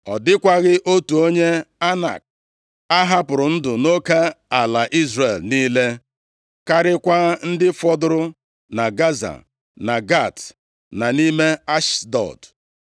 Ọ dịkwaghị otu onye Anak a hapụrụ ndụ nʼoke ala Izrel niile, karịakwa ndị fọdụrụ na Gaza, na Gat, na nʼime Ashdọd.